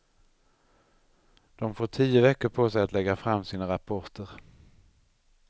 De får tio veckor på sig att lägga fram sina rapporter.